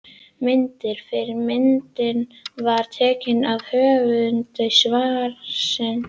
Myndir: Fyrri myndin var teiknuð af höfundi svarsins.